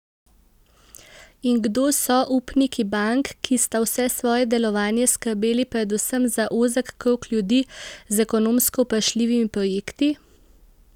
In kdo so upniki bank, ki sta vse svoje delovanje skrbeli predvsem za ozek krog ljudi z ekonomsko vprašljivimi projekti?